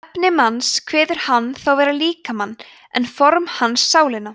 efni manns kveður hann þá vera líkamann en form hans sálina